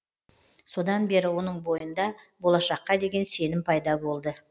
содан бері оның бойында болашаққа деген сенім пайда болды